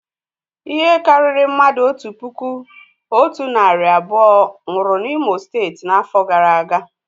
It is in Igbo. Ihe karịrị mmadụ otu puku otu narị abụọ nwụrụ na imo steeti n'afọ gara aga